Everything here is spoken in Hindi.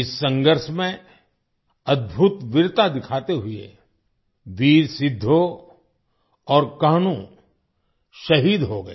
इस संघर्ष में अद्भुत वीरता दिखाते हुए वीर सिद्धो और कान्हू शहीद हो गए